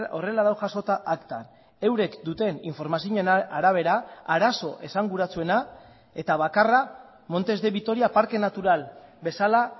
horrela dago jasota aktan eurek duten informazioen arabera arazo esanguratsuena eta bakarra montes de vitoria parke natural bezala